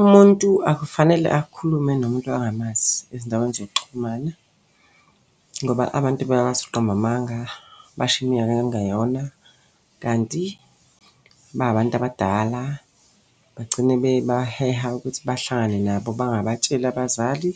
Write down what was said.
Umuntu akufanele akhulume nomuntu angamazi ezindaweni zokuxhumana ngoba abantu bayakwazi ukuqamba amanga, basho iminyaka okungeyona. Kanti ba abantu abadala bagcine bebaheha ukuthi bahlangane nabo bengabatsheli abazali.